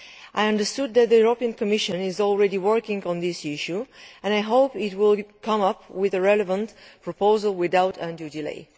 I understood that the Commission is already working on this issue and I hope it will come up with the relevant proposal without undue delay.